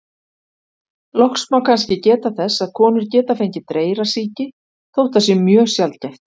Loks má kannski geta þess að konur geta fengið dreyrasýki, þótt það sé mjög sjaldgæft.